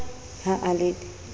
ha a le d e